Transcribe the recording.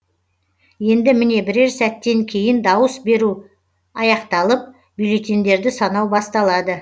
енді міне бірер сәттен кейін дауыс беру аяқталып бюллетендерді санау басталады